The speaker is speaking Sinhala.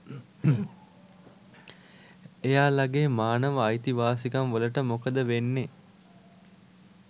එයාලගේ මානව අයිති වාසිකම් වලට මොකද වෙන්නේ